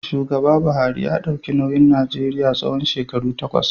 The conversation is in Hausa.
Shugaba Buhari ya dauki nauyin Najeriya tsawon shekaru takwas.